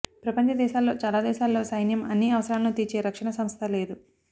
ప్రపంచ దేశాల్లో చాలా దేశాల్లో సైన్యం అన్నీ అవసరాలను తీర్చే రక్షణ సంస్థే లేదు